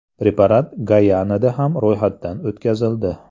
Preparat Gayanada ham ro‘yxatdan o‘tkazildi.